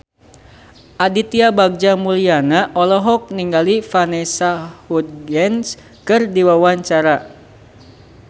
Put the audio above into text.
Aditya Bagja Mulyana olohok ningali Vanessa Hudgens keur diwawancara